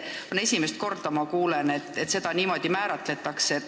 Ma kuulen esimest korda, et seda niimoodi määratletakse.